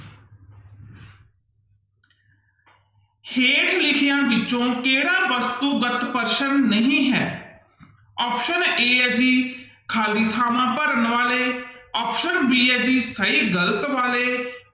ਹੇਠ ਲਿਖਿਆਂ ਵਿੱਚੋਂ ਕਿਹੜਾ ਵਸਤੂਗਤ ਪ੍ਰਸ਼ਨ ਨਹੀਂ ਹੈ option a ਹੈ ਜੀ ਖਾਲੀ ਥਾਵਾਂ ਭਰਨ ਬਾਰੇ option b ਹੈ ਜੀ ਸਹੀ ਗ਼ਲਤ ਬਾਰੇ,